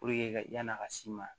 ka yan'a ka s'i ma